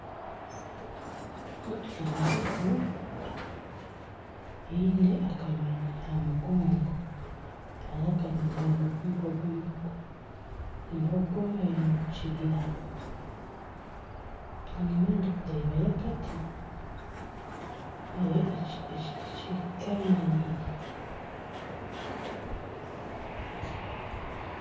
Embogo eine akanyonyi aha mugongo, hariho akanyonyi aha mugongo gw'embogo, embogo eri omu kibira, enyima nindeebayo akati, ekiti kyemereire